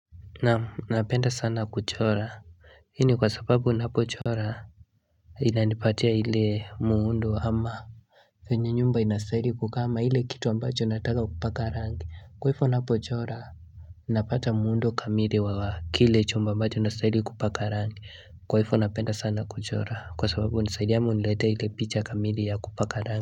Naamu napenda sana kuchora Hii ni kwa sababu napo chora inanipatia ile muundo ama venye nyumba inasaidi kukama hile kitu ambacho nataka kupaka rangi kwa hifo napo chora Napata muundo kamiri wa wa kile chumba ambacho nastaili kupaka rangi kwa hifo napenda sana kuchora kwa sababu unisaidia ama uniletea ile picha kamili ya kupaka rangi.